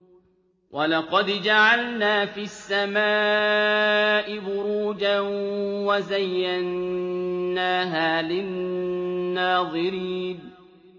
وَلَقَدْ جَعَلْنَا فِي السَّمَاءِ بُرُوجًا وَزَيَّنَّاهَا لِلنَّاظِرِينَ